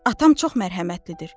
Atam çox mərhəmətlidir.